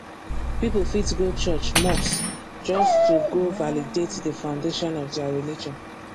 pipo fit go church mosque just to go validate the foundation of their religion